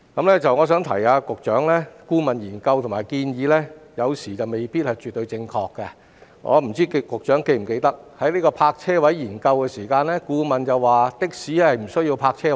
我想提醒局長，顧問研究和建議有時未必絕對正確，我不知道局長是否記得，在有關泊車位的研究中，顧問指的士不需要泊車位。